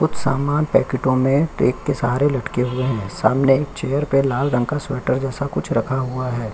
कुछ सामान पेकेटों में टेक के सहारा लटके हुए हैं। सामने चैर पे लाल रंग का स्वेटर जैसा कुछ रखा हुआ है।